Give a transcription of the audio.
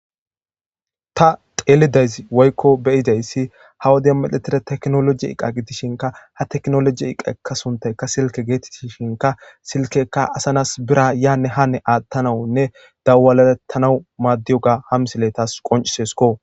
Ta xeelidayz woykko beyidayssi ha wode medhetire teknoloji iqa gidishinka ha teknoloji iqaekka suntayka silke geetettishinka silkekka asanas bira yaanne haane aattanawunne dawalaettanau maaddiyoga hamsile tas qoncisesko.